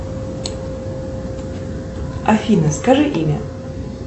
афина скажи имя